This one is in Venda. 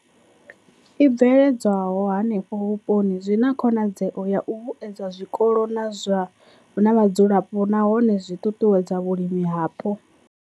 I bveledzwaho henefho vhuponi zwi na khonadzeo ya u vhuedza zwikolo na vhadzulapo nahone zwi ṱuṱuwedza vhulimi hapo.